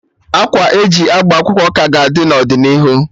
Akwa e ji agba akwụkwọ ka ga-adị n'ọdịnihu